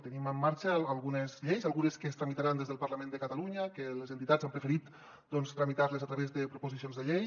tenim en marxa algunes lleis algunes que es tramitaran des del parlament de catalunya que les entitats han preferit doncs tramitar les a través de proposicions de llei